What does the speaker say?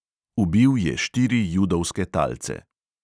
Ubil je štiri judovske talce.